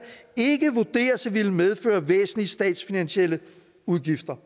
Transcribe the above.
ikke vurderes at ville medføre væsentlige statsfinansielle udgifter